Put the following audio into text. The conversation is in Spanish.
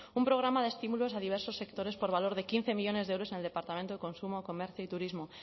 un programa de estímulos a diversos sectores por valor de quince millónes de euros en el departamento de consumo comercio y turismo